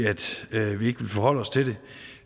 vi ikke vil forholde os til det